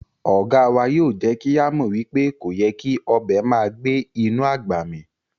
Oga wa yoo je ki a mo wipe koyè́ kí ọbẹ màá gbẹ̀ inú agbá mí